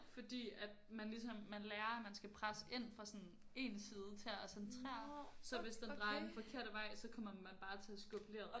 Fordi at man ligesom man lærer at man skal presse ind fra sådan én side til at centrere så hvis den drejer den forkerte vej så kommer man bare til at skubbe leret